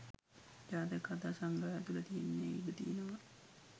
ජාතක කථා සංග්‍රහය තුළ තියෙන්න ඉඩ තියෙනවා.